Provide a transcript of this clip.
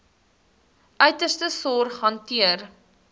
uiterste sorg hanteer